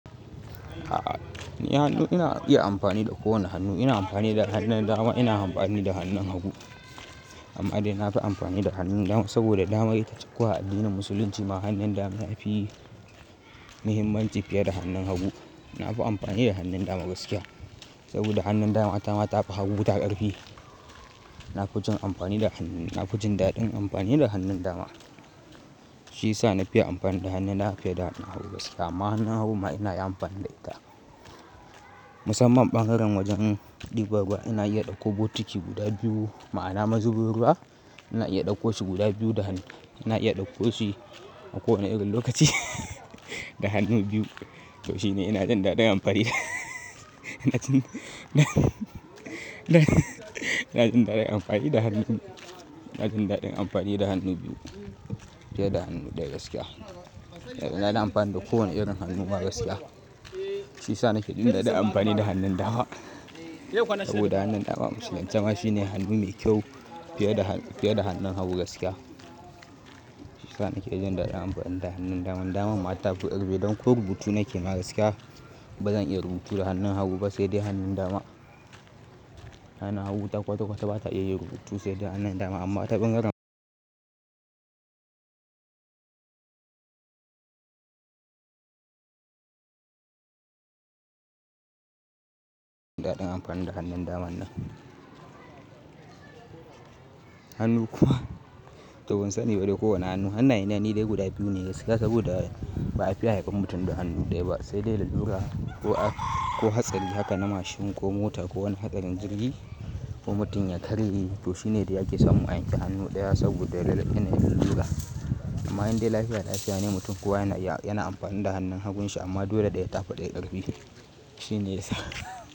A'a, ni hannu ina iya amfani da ko wanne hannu ne. Ina amfani da hannun dama, ina amfani da hannun hagu. Amma dai na fi amfani da hannun dama saboda dama ita kuwa addinin Musulunci ma hannun dama yafi muhimmanci fiye da hannun hagu. Na fi amfani da hannun dama gaskiya saboda hannun dama ta ma ta fi hagu ta ƙarfi. Na fi jin amfani da hannun, na fi jin daɗin amfani da hannun dama. Shi yasa na fiye amfani da hannuna, na fiye da hannun hagu gaskiya. Amma hannun hagu ma ina iya amfani da ita. Musamman ɓangaren wajen ɗiba ruwa, ina iya ɗauko botiki guda biyu. Ma'ana mazubu ruwa ina iya ɗauko su guda biyu da hannu. Ina iya ɗauko su a ko wanne irin lokaci da hannu biyu. To shine ina jin daɗin amfani da ina jin daɗin amfani da hannu, ina jin daɗin amfani da hannu biyu fiye da hannu ɗaya gaskiya. Ina dan amfani da kowane irin hannu ma gaskiya. Shi yasa nake jin daɗin amfani da hannun dama saboda hannun dama a Musulunce ma shine hannu me kyau fiye da, fiye da hannun hagu gaskiya. Shi yasa nake jin daɗin amfani da hannun dama. Hannun dama ma ta fi ƙarfi idan kuwa rubutu nake ma gaskiya baza iya rubutu da hannun hagu ba saidai hannun dama. Hannun hagu ta kwata kwata ba ta iya yin rubutu saidai hannun dama amma ta ɓangaren daɗin amfani da hannun dama nan. Hannu kuwa to ban sani ba dai kowane hannu. Hannayen nan dai guda biyu ne gaskiya saboda ba a fiya haifan mutum da hannu ɗaya ba saidai lalura ko hatsari haka na mashin ko mota ko wani hadarin jirgi ko mutum ya karye. To shine dai ake samun a yanke hannu ɗaya saboda yana yin lalura. Amma indai lafiya lafiya ne mutum kuwa yana, yana amfani da hannun hagun shi amma dole ɗaya tafi daya ƙarfi. Shine yasa.